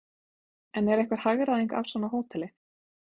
En er einhver hagræðing af svona hóteli?